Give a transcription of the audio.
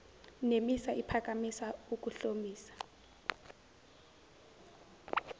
nemisa iphakamisa ukuhlomisa